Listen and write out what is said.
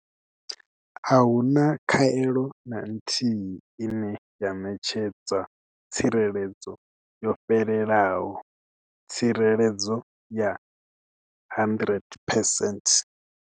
Ahuna khaelo na nthihi ine ya ṋetshedza tsireledzo yo fhelelaho tsireledzo ya 100 percent.